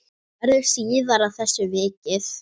Verður síðar að þessu vikið.